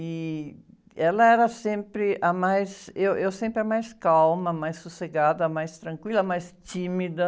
E ela era sempre a mais... Eu, eu sempre a mais calma, a mais sossegada, a mais tranquila, a mais tímida.